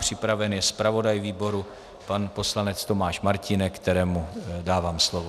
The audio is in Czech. Připraven je zpravodaj výboru pan poslanec Tomáš Martínek, kterému dávám slovo.